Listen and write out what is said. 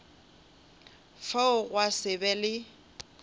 fao gwa se be le